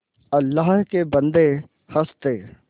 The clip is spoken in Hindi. अल्लाह के बन्दे हंस दे